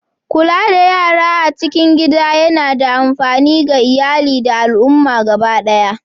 Kula da yara a cikin gida yana da amfani ga iyali da al'umma gaba ɗaya.